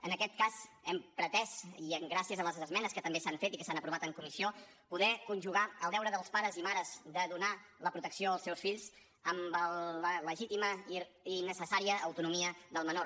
en aquest cas hem pretès i gràcies a les esmenes que també s’han fet i que s’han aprovat en comissió poder conjugar el deure dels pares i mares de donar la protecció als seus fills amb la legítima i necessària autonomia del menor